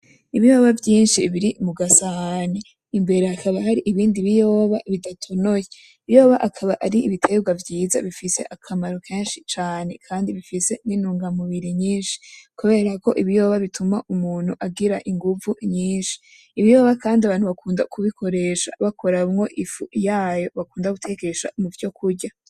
Ibiyoba vyinshi biri mu gasahani imbere hakaba hari ibindi biyoba bidatonoye, ibiyoba akaba ari ibitegwa vyiza bifise akamaro kenshi cane kandi bifise intungamubiri nyinshi kubera ko ibiyoba bituma umuntu agira inguvu nyinshi, ibiyoba kandi abantu bakunda kubikoresha bakuramwo ifu yayo bakunda gutekesha muvyo kurya.